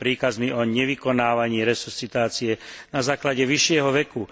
príkazmi o nevykonávaní resuscitácie na základe vyššieho veku.